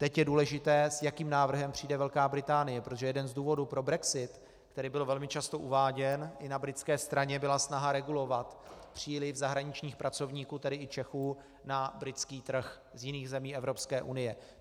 Teď je důležité, s jakým návrhem přijde Velká Británie, protože jeden z důvodů pro brexit, který byl velmi často uváděn i na britské straně, byla snaha regulovat příliv zahraničních pracovníků, tedy i Čechů, na britský trh z jiných zemí Evropské unie.